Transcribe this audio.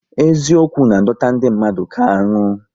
Eziokwu na adọta ndị mmadụ ka aṅụ